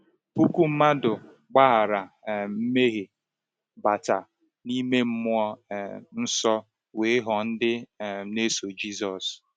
Puku mmadụ gbaghara um mmehie, bata n’ime mmụọ um nsọ, wee ghọọ ndị um na-eso Jisọs.